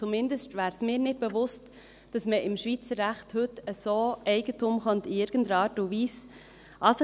Zumindest wäre mir nicht bewusst, dass man heute im Schweizer Recht in irgendeiner Art und Weise Eigentum an sich reissen könnte.